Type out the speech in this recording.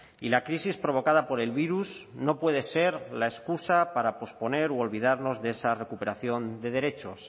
y la crisis provocada por el virus no puede ser la excusa para posponer u olvidarnos de esa recuperación de derechos